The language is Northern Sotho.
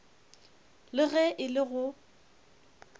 le ge e le go